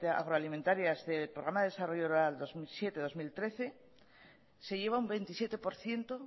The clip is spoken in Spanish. agroalimentarias del programa de desarrollo rural dos mil siete dos mil trece se llegó a un veintisiete por ciento